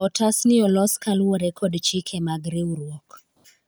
otas ni olos koluwore kod chike mag riwruok